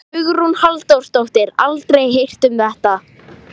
Hugrún Halldórsdóttir: Aldrei heyrt um þetta?